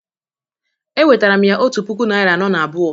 Ewetara m ya otu puku naịra anọ na abụọ